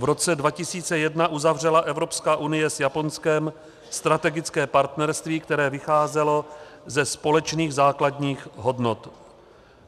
V roce 2001 uzavřela Evropská unie s Japonskem strategické partnerství, které vycházelo ze společných základních hodnot.